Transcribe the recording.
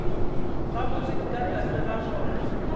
gabotse ka tlase ga more